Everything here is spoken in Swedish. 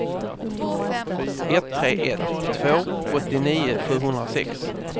ett tre ett två åttionio sjuhundrasex